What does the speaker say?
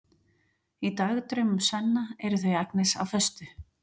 Í dagdraumum Svenna eru þau Agnes á föstu.